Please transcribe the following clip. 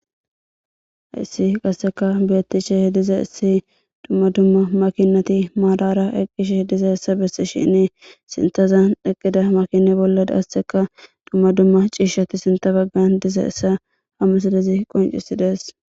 Hayssi qasseka beettishe diza issi dumma dumma makinati maadara eqqishe diza essa bessi shinni sintazan eqqida makine bollaasseka dumma dumma ciishshati sinta baggan diza hessa hammasidezi qoncisi dees.